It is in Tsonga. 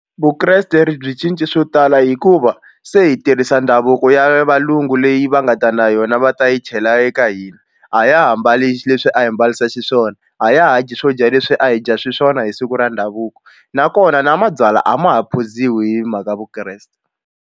Vukreste ri byi cince swo tala hikuva se hi tirhisa ndhavuko ya valungu leyi va nga ta na yona va ta yi chela eka hina a ya ha mbali leswi a hi mbarisa xiswona a ya ha dyi swo dya leswi a hi dya xiswona hi siku ra ndhavuko nakona na mabyalwa a ma ha phuziwi hi mhaka Vukreste.